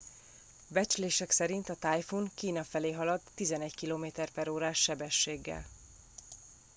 becslések szerint a tájfun kína felé halad 11 km/órás sebességgel